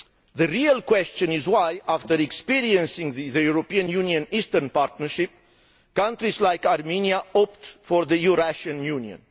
The real question is why, after experiencing the European Union Eastern Partnership, countries like Armenia opt for the Eurasian Union.